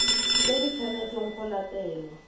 tse di tshwanetseng go latelwa